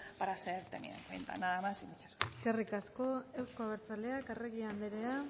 para ser tenido en cuenta nada más y muchas gracias eskerrik asko euzko abertzaleak arregi andrea